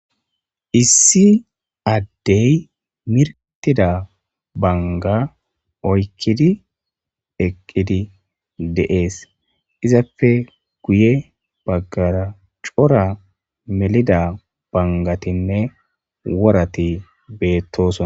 issi addey mirtida banga oykkidi eqqidi deees izapfe guye baggara cora melida bangatinne worati beettosona